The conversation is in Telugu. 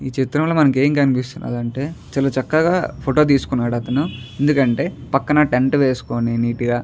ఈ చిత్రంలో మనకేం కనిపిస్తున్నదంటే ఆ చక్కగా ఫోటో తీసుకున్నాడు అతను. ఎందుకంటే పక్కన టెంట్ వేసుకొని నీట్ గా --